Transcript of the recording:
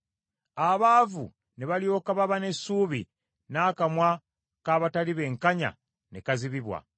Abaavu ne balyoka baba n’essuubi, n’akamwa k’abatali benkanya ne kazibibwa.